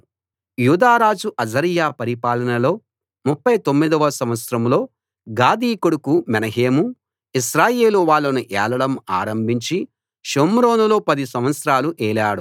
యూదారాజు Azariah పరిపాలనలో 39 వ సంవత్సరంలో గాదీ కొడుకు మెనహేము ఇశ్రాయేలు వాళ్ళను ఏలడం ఆరంభించి షోమ్రోనులో 10 సంవత్సరాలు ఏలాడు